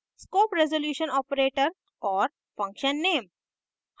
scope resolution operator और function name